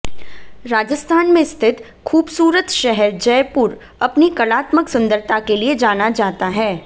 राजस्थान में स्थित खूबसूरत शहर जयपूर अपनी कलात्मक सुंदरता के लिए जाना जाता हैं